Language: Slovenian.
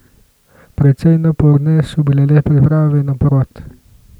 Precej naporne so bile le priprave na porod.